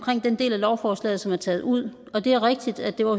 den del af lovforslaget som er taget ud og det er rigtigt at det var